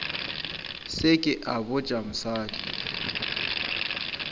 se ke a botša mosadi